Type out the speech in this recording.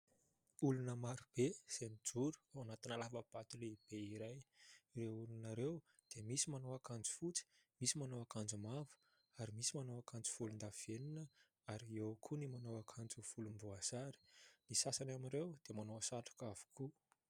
Olona maro be izay mijoro ao anatina lava-bato lehibe iray. Ireo olona ireo dia misy manao akanjo fotsy, misy manao akanjo mavo, ary misy manao akanjo volon-davenona, ary eo koa ny manao akanjo volom-boasary. Ny sasany amin' ireo dia manao satroka avokoa.